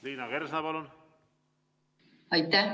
Liina Kersna, palun!